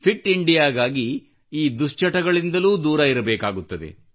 fit ಇಂಡಿಯಾಗಾಗಿ ಈ ದುಶ್ಚಟಗಳಿಂದಲೂ ದೂರ ಇರಬೇಕಾಗುತ್ತದೆ